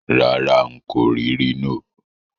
Rárá, n kò rì Rhino